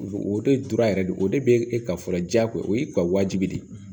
O de dora yɛrɛ de o de be e ka fɔlɔ jago o y'i ka wajibi de ye